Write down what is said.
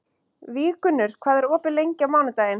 Víggunnur, hvað er opið lengi á mánudaginn?